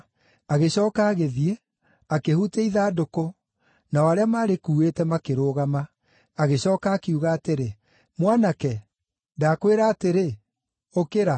Agĩcooka agĩthiĩ, akĩhutia ithandũkũ, nao arĩa maarĩkuuĩte makĩrũgama. Agĩcooka akiuga atĩrĩ, “Mwanake, ndakwĩra atĩrĩ, ũkĩra!”